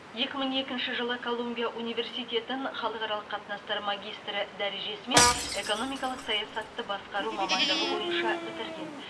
екі мың екінші жылы колумбия университетін халықаралық қатынастар магистрі дәрежесімен экономикалық саясатты басқару мамандығы бойынша бітірген